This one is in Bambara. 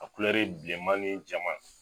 bilenma ni jɛma.